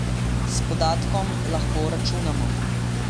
S podatkom lahko računamo!